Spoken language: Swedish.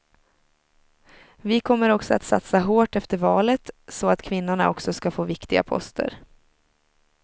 Vi kommer också att satsa hårt efter valet, så att kvinnorna också ska få viktiga poster.